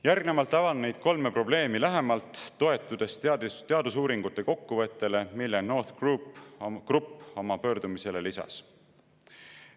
Järgnevalt avan neid kolme probleemi lähemalt, toetudes teadusuuringute kokkuvõttele, mille NORTH Group oma pöördumisele lisas.